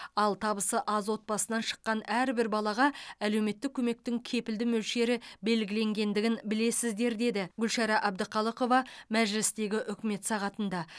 ал табысы аз отбасынан шыққан әрбір балаға әлеуметтік көмектің кепілді мөлшері белгіленгендігін білесіздер деді гүлшара әбдіқалықова мәжілістегі үкімет сағатында